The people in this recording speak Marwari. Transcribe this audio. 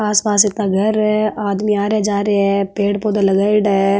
आस पास इतना घर है आदमी आ रा जा रहे है पेड़ पौधा लगाईड़ा है।